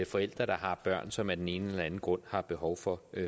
forældre der har børn som af den ene eller den anden grund har behov for